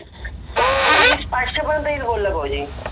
विस पाचशे पर्य्नेत येईल बोलला भाऊजि